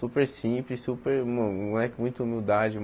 Super simples, super... meu um moleque muito humildade.